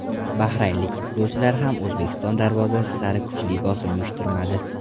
Bahraynlik futbolchilar ham O‘zbekiston darvozasi sari kuchli bosim uyushtirmadi.